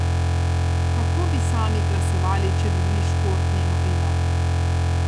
Kako bi sami glasovali, če bi bili športni novinar?